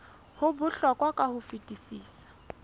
ho bohlokwa ka ho fetisisa